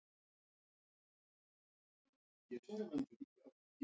Á hæðinni var sæmileg stofa, lítið eldhús inn af henni og borðstofa.